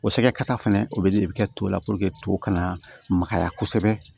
O sɛgɛ kata fɛnɛ o be ji de bi kɛ to la to kana magaya kosɛbɛ